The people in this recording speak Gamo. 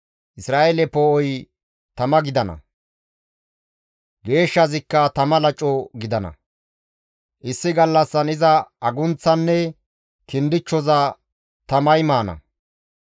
Isra7eele Poo7oy tama gidana; Geeshshazikka tama laco gidana; issi gallassan iza agunththaanne kindichchoza tamay maana.